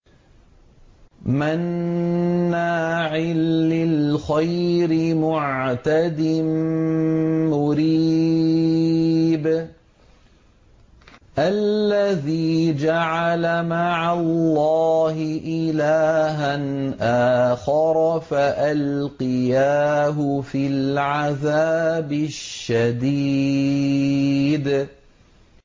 مَّنَّاعٍ لِّلْخَيْرِ مُعْتَدٍ مُّرِيبٍ